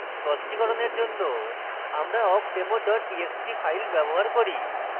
স্পষ্টিকরণের জন্য আমরা awkdemo txt txt file ব্যবহার করি